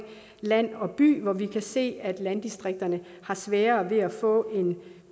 land og by hvor vi kan se at landdistrikterne har sværere ved at få en